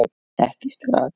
Ekki strax